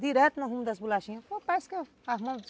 Direto no rumo das bolachinhas